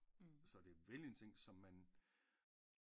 Så det er velindtænkt som man